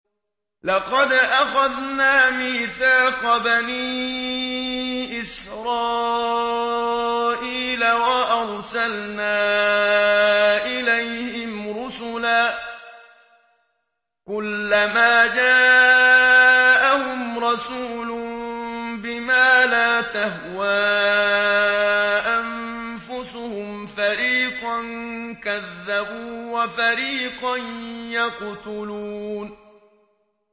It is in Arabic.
لَقَدْ أَخَذْنَا مِيثَاقَ بَنِي إِسْرَائِيلَ وَأَرْسَلْنَا إِلَيْهِمْ رُسُلًا ۖ كُلَّمَا جَاءَهُمْ رَسُولٌ بِمَا لَا تَهْوَىٰ أَنفُسُهُمْ فَرِيقًا كَذَّبُوا وَفَرِيقًا يَقْتُلُونَ